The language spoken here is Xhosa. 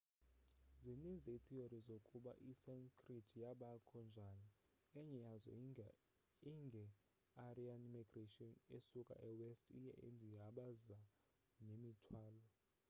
zininzi iitheory zokuba isanskrit yabakho njani. enye yazo inge aryan migration besuka e west ye india abaza nemithwalo